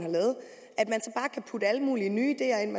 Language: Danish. så putte alle mulige nye ideer ind